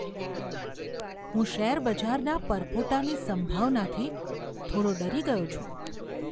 હું શેરબજારના પરપોટાની સંભાવનાથી થોડો ડરી ગયો છું.